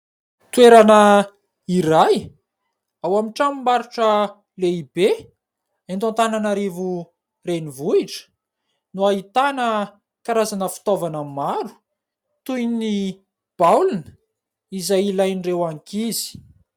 Toerana ray, ao amin'ny tranom-barotra lehibe eto Antananarivo renivohitra, no ahitana karazana fitaovana maro toy ny baolina izay ilain'ireo ankizy.